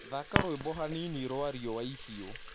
Thaka rwĩmbo hanĩnĩ rwa rĩũaĩhĩũ